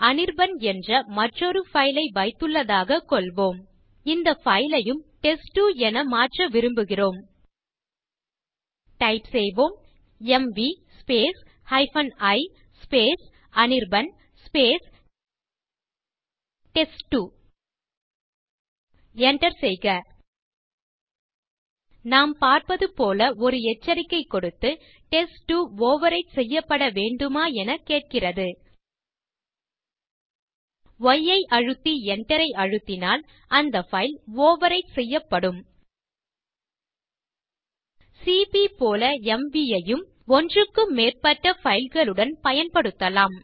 அனிர்பன் என்ற மற்றொரு பைல் ஐ வைத்துள்ளதாக கொள்வோம்இந்த பைல் யும் டெஸ்ட்2 என மாற்ற விரும்புகிறோம் டைப் செய்வோம் M V i Anirban test two enter செய்க நாம் பார்ப்பது போல ஒரு எச்சரிக்கை கொடுத்து டெஸ்ட்2 ஓவர்விரைட் செய்யப்பட வேண்டுமா எனக் கேட்கிறது ய் ஐ அழுத்தி enter ஐ அழுத்தினால் அந்த பைல் ஓவர்விரைட் செய்யப்படும் சிபி போல எம்வி ஐயும் ஒன்றுக்கும் மேற்பட்ட பைல் களுடன் பயன்படுத்தலாம்